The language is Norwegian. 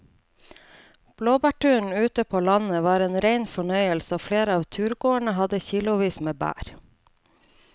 Blåbærturen ute på landet var en rein fornøyelse og flere av turgåerene hadde kilosvis med bær.